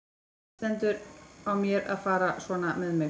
Hvernig stendur á mér að fara svona með mig?